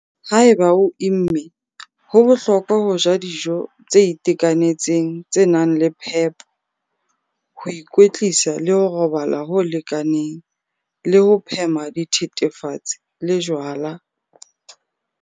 Haeba o imme, ho bohlokwa ho ja dijo tse itekanetseng tse nang le phepo, ho ikwetlisa le ho robala ho lekaneng le ho phema dithethefatsi le jwala.